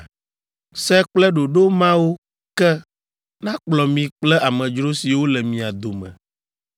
Se kple ɖoɖo mawo ke nakplɔ mi kple amedzro siwo le mia dome.’ ”